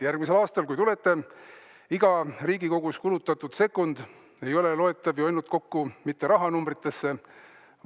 Järgmisel aastal, kui te kokku tulete,, et iga Riigikogus kulutatud sekund ei ole ainult rahanumbritega.